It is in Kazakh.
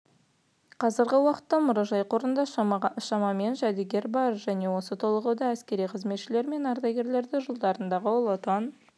қазіргі уақытта мұражай қорында шамамен жәдігер бар және толығуда әскери қызметшілері мен ардагерлері жылдардағы ұлы отан